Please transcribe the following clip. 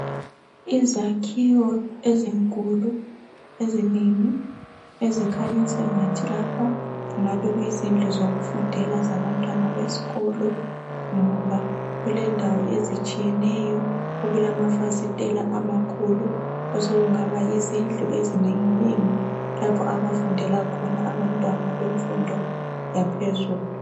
Izakhiwo ezinkulu ezinengi ezikhanya sengathi lapha kuyizindlu zokufundela zabantwana besikolo ngoba kulendawo ezitshiyeneyo okulamafasiteli amakhulu asokungaba yizindlu ezinenginengi lapho abafundela khona abantwana bemfundo yaphezulu.